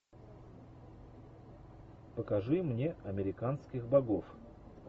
покажи мне американских богов